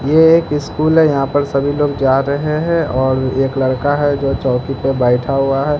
ये एक स्कूल हैं यहां पर सभी लोग जा रहे हैं और एक लड़का है जो चौंकी पे बैठा हुआ हैं।